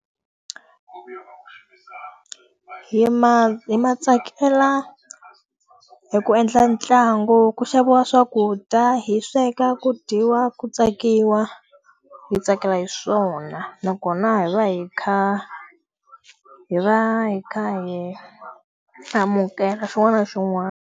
Hi ma hi ma tsakela hi ku endla ntlangu ku xaviwa swakudya, hi sweka, ku dyiwa, ku tsakiwa. Hi tsakela hi swona, nakona hi va hi kha hi va hi kha hi amukela xin'wana na xin'wana.